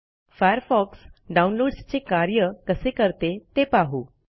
Firefox डाऊनलोडसचे कार्य कसे करते ते पाहू